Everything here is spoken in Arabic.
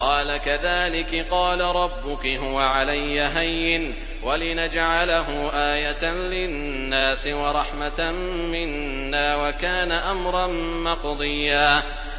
قَالَ كَذَٰلِكِ قَالَ رَبُّكِ هُوَ عَلَيَّ هَيِّنٌ ۖ وَلِنَجْعَلَهُ آيَةً لِّلنَّاسِ وَرَحْمَةً مِّنَّا ۚ وَكَانَ أَمْرًا مَّقْضِيًّا